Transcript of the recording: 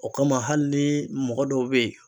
O kama hali ni mɔgɔ dɔw be ye